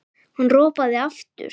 Hann ropaði aftur.